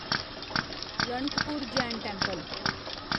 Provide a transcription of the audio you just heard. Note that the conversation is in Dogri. रणकपुर जैन टेंपल